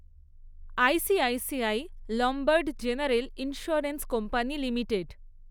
ICICI Lombard general insurance company limited